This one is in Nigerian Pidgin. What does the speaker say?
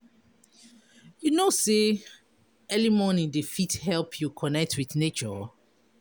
You know sey early morning dey fit help you connect wit nature?